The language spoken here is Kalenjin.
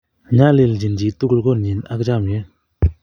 Nyaljin chi tukul konyit ak chamyet